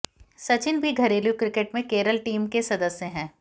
सचिन भी घरेलू क्रिकेट में केरल टीम के सदस्य हैं